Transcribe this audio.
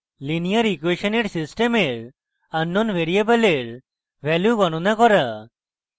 linear ইকুয়়েসনের সিস্টেমের unknown ভ্যারিয়েবলের value গনণা করা